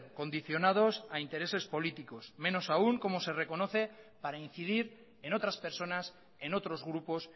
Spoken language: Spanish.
condicionados a intereses políticos menos aún como se reconoce para incidir en otras personas en otros grupos